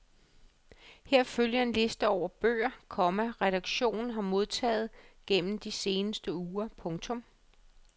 Her følger en liste over de bøger, komma redaktionen har modtaget gennem de seneste uger. punktum